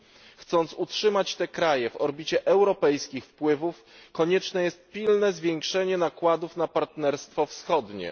Do utrzymania tych krajów w orbicie europejskich wpływów konieczne jest pilne zwiększenie nakładów na Partnerstwo Wschodnie.